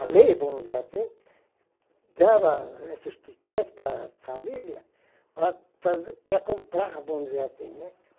A lei, vamos dizer assim, dava esses tíquetes para a família para para comprar, vamos dizer assim, né.